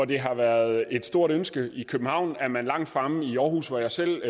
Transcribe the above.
det har været et stort ønske i københavn er man langt fremme og i aarhus hvor jeg selv